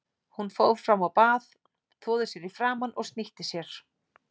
Hún fór fram á bað, þvoði sér í framan og snýtti sér.